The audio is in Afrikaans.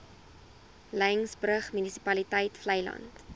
laingsburg munisipaliteit vleiland